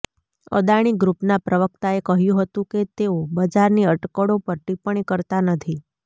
અદાણી ગ્રૂપના પ્રવક્તાએ કહ્યું હતું કે તેઓ બજારની અટકળો પર ટિપ્પણી કરતા નથી